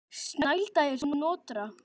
Snælda er Snotra